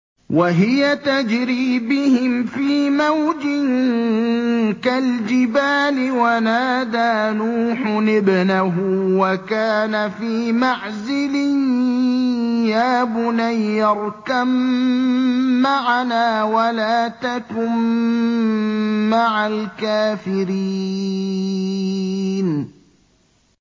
وَهِيَ تَجْرِي بِهِمْ فِي مَوْجٍ كَالْجِبَالِ وَنَادَىٰ نُوحٌ ابْنَهُ وَكَانَ فِي مَعْزِلٍ يَا بُنَيَّ ارْكَب مَّعَنَا وَلَا تَكُن مَّعَ الْكَافِرِينَ